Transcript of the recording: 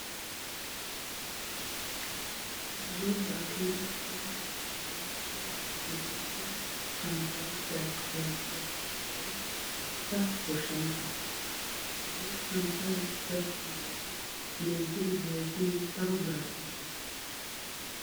Korzzozzaa kiyidaa uutta miyyian ira wode tokkido santtayi dalqqi dalqqiyaaga giddon eqqida goshshanchchaa. Hagee santtayi gakkiyo wode menttidi bayizzin daro biraa ekkes.